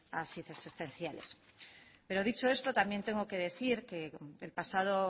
asistenciales pero dicho esto también tengo que decir que el pasado